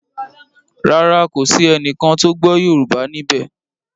Ràrá kò sí ẹní kán tó gbó yorùbá níbè.